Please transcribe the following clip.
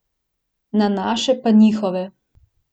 Na naše pa njihove.